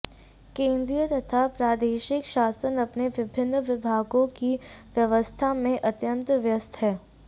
केंद्रीय तथा प्रादेशिक शासन अपने विभिन्न विभागों की व्यवस्था में अत्यंत व्यस्त है